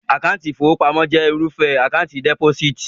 Àkáńtì ìfowópamọ́ jẹ́ irúfẹ́ Àkáńtì dẹ́pósíìtì